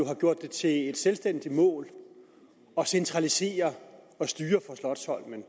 har gjort det til et selvstændigt mål at centralisere